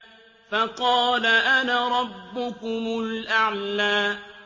فَقَالَ أَنَا رَبُّكُمُ الْأَعْلَىٰ